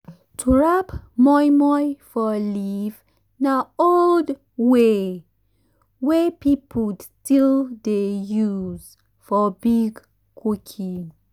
to wrap moimoi for leaf na old way wey people still dey use for big [?.] cooking.